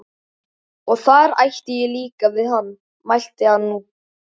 Og þar átti ég líka við hann, mælti hann nú.